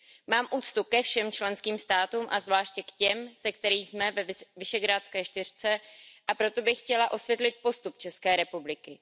Mám úctu ke všem členským státům a zvláště k těm, se kterými jsme ve Visegrádské čtyřce, a proto bych chtěla osvětlit postup České republiky.